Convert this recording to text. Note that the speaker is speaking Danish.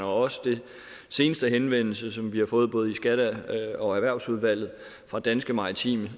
også den seneste henvendelse som vi har fået i både skatteudvalget og erhvervsudvalget fra danske maritime